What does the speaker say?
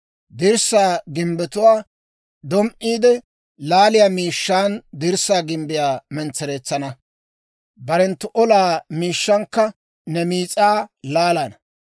Dirssaa gimbbetuwaa dom"iide laaliyaa miishshaan dirssaa gimbbiyaa mentsereetsana; barenttu olaa miishshankka ne miis'aa laalana.